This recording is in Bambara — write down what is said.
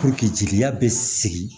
jeliya be sigi